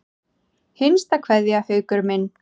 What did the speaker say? HINSTA KVEÐJA Haukur minn.